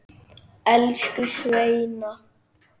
Elsku Sveina.